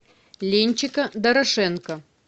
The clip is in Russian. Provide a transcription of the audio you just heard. ленчика дорошенко